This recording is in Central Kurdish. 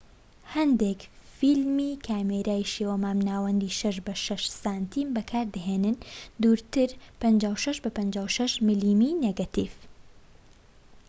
هەندێک فیلمی کامێرای شێوە مامناوەندی 6 بە 6 سم بەکاردەهێنن ووردتر 56 بە 56 ملمی نێگەتیڤ